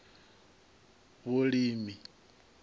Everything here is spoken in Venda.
vhulimi